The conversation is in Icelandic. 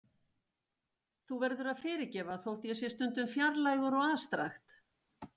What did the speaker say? Þú verður að fyrirgefa þótt ég sé stundum fjarlægur og afstrakt.